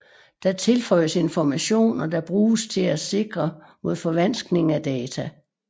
Der tilføjes informationer der bruges til at sikre mod forvanskning af data